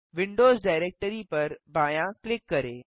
Windows directory पर बायाँ click करें